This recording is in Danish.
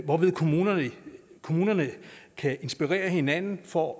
hvorved kommunerne kommunerne kan inspirere hinanden for